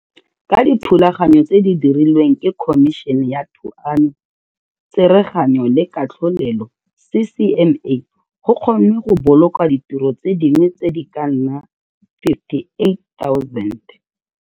Ka dithulaganyo tse di dirilweng ke Khomišene ya Thuanyo, Tsereganyo le Katlholelo CCMA go kgonnwe go boloka ditiro tse dingwe di ka nna 58 000.